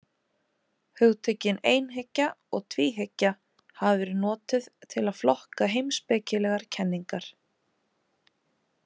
Hugtökin einhyggja og tvíhyggja hafa verið notuð til að flokka heimspekilegar kenningar.